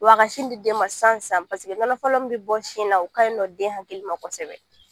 Wa a ka sin di den ma san san paseke nɔnɔ fɔlɔ mun bi bɔ sin na o ka ɲi nɔ den hali ma kɔsɛbɛ